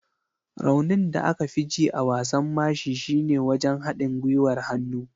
Raunin da aka fi ji a wasan mashi shine wajen haɗin gwiwar hannu.